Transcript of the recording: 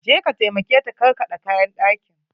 Je ka taimake ta karkaɗe kayan ɗakin!